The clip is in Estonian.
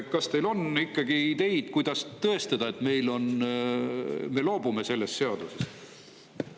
Kas teil on ideid, kuidas tõestada, et me loobume sellest seadusest?